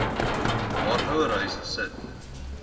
haar ouerhuis gesit